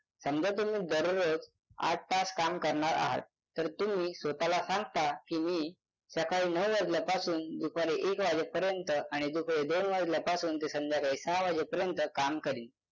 समजा तुम्ही दररोज आठ तास काम करणार आहात तर तुम्ही स्वत ला सांगता की मी सकाळी नऊ वाजल्यापासून दुपारी एक वाजेपर्यंत आणि दुपारी दोन वाजल्यापासून ते संध्याकाळी सहा वाजेपर्यंत काम करीन